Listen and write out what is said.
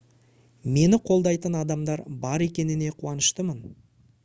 мені қолдайтын адамдар бар екене қуаныштымын